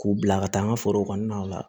K'u bila ka taa n ka foro kɔnɔnaw la